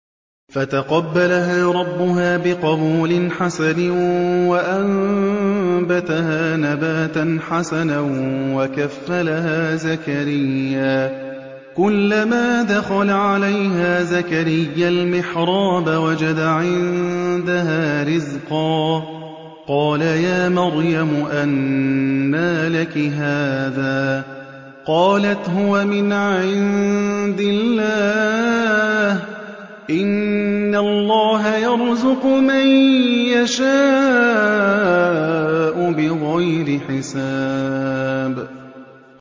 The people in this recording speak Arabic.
فَتَقَبَّلَهَا رَبُّهَا بِقَبُولٍ حَسَنٍ وَأَنبَتَهَا نَبَاتًا حَسَنًا وَكَفَّلَهَا زَكَرِيَّا ۖ كُلَّمَا دَخَلَ عَلَيْهَا زَكَرِيَّا الْمِحْرَابَ وَجَدَ عِندَهَا رِزْقًا ۖ قَالَ يَا مَرْيَمُ أَنَّىٰ لَكِ هَٰذَا ۖ قَالَتْ هُوَ مِنْ عِندِ اللَّهِ ۖ إِنَّ اللَّهَ يَرْزُقُ مَن يَشَاءُ بِغَيْرِ حِسَابٍ